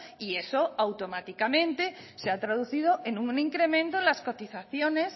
y eso automáticamente se ha traducido en un incremento en las cotizaciones